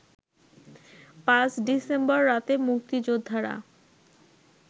৫ December রাতে মুক্তিযোদ্ধারা